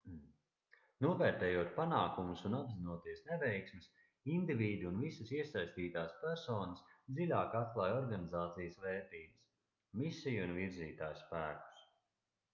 novērtējot panākumus un apzinoties neveiksmes indivīdi un visas iesaistītās personas dziļāk atklāj organizācijas vērtības misiju un virzītājspēkus